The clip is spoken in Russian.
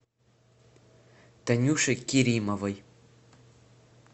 танюше керимовой